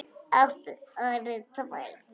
Áttu nú orðið tvær?